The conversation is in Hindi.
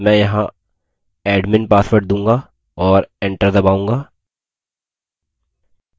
मैं यहाँ admin pasward दूंगा और enter दबाऊँगा